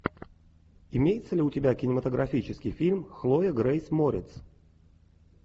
имеется ли у тебя кинематографический фильм хлоя грейс морец